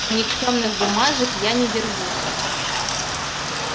а никчёмных бумажек я не держу